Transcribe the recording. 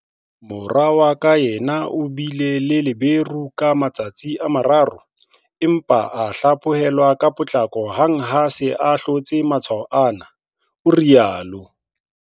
Mora wa ka yena o bile le feberu ka matsatsi a mararo, empa a hlaphohelwa ka potlako hang ha a se a hlotse matshwao ana, o rialo.